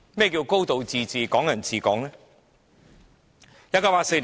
何謂"高度自治"、"港人治港"呢？